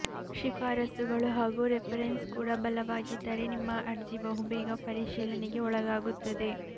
ಶಿಫಾರಸ್ಸುಗಳು ಹಾಗೂ ರೆಫರೆನ್ಸ್ ಕೂಡ ಬಲವಾಗಿದ್ದರೆ ನಿಮ್ಮ ಅರ್ಜಿ ಬಹು ಬೇಗ ಪರಿಶೀಲನೆಗೆ ಒಳಗಾಗುತ್ತದೆ